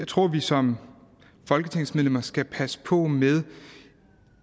tror at vi som folketingsmedlemmer skal passe på med